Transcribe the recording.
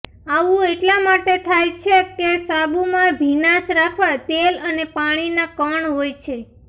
આવું એટલા માટે થાય છે કે સાબુમાં ભીનાશ રાખવા તેલ અને પાણીના કણ હોય છે